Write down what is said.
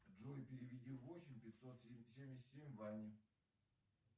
джой переведи восемь пятьсот семьдесят семь ване